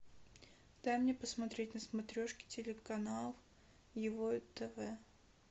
дай мне посмотреть на смотрешке телеканал его тв